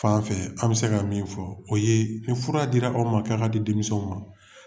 fanfɛ an bɛ se ka min fɔ o ye ni fura dira aw ma k'a ka di denmisɛnw ma.